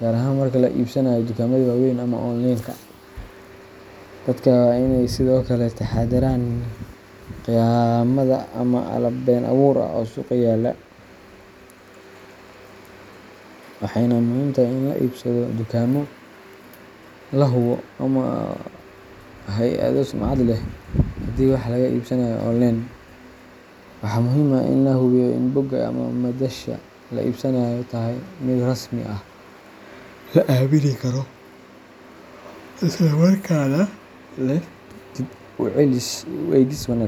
gaar ahaan marka laga iibsanayo dukaamada waaweyn ama onleenka. Dadka waa inay sidoo kale ka taxadaraan khiyaamada ama alaab been abuur ah oo suuqa yaalla, waxayna muhiim tahay in laga iibsado dukaamo la hubo ama hay’ado sumcad leh. Haddii wax laga iibsanayo onleen, waxaa muhiim ah in la hubiyo in bogga ama madasha laga iibsanayo ay tahay mid rasmi ah, la aamini karo, isla markaana leh dib u eegis wanaagsan.